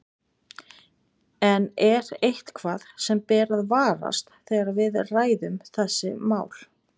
En er eitthvað sem ber að varast þegar við ræðum þessi mál?